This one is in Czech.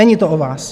Není to o vás.